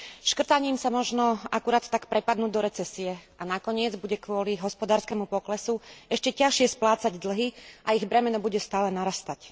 Škrtaním sa možno akurát tak prepadnú do recesie a nakoniec bude kvôli hospodárskemu poklesu ešte ťažšie splácať dlhy a ich bremeno bude stále narastať.